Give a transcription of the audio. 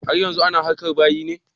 Har yanzu ana harkar bayi ne?